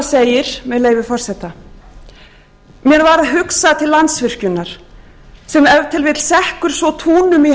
segir með leyfi forseta mér varð hugsað til landsvirkjajnr sem ef til vill svo túnum í